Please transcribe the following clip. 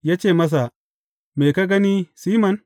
Ya ce masa, Me ka gani, Siman?